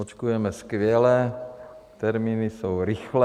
Očkujeme skvěle, termíny jsou rychlé.